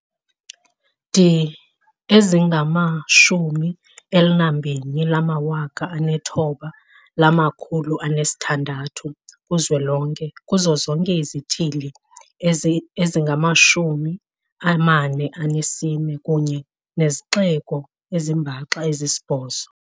di ezingama-129 600 ku-zwelonke, kuzo zonke izithili ezingama-44 kunye nezixeko ezimbaxa ezisibhozo.